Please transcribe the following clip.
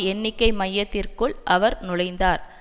எண்ணிக்கை மையத்திற்குள் அவர் நுழைந்தார்